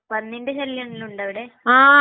പന്നീന്റെ ശല്യം എല്ലാം ഉണ്ടാവിടെ?